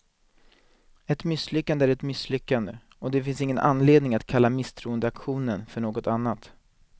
Ett misslyckande är ett misslyckande, och det finns ingen anledning att kalla misstroendeaktionen för något annat.